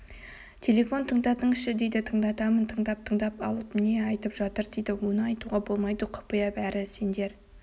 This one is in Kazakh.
телефон тыңдатыңызшы дейді тыңдатамын тыңдап-тыңдап алып не айтып жатыр дейді оны айтуға болмайды құпия бәрі сендер